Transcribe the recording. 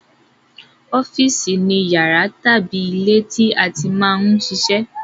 Ọ́fìsì ni yàrá tàbí ilé tí a ti máa ń ṣe iṣẹ́